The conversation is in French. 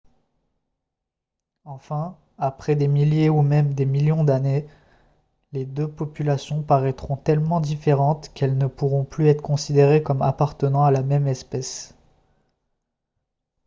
enfin après des milliers ou même des millions d'années les deux populations paraîtront tellement différentes qu'elles ne pourront plus être considérées comme appartenant à la même espèce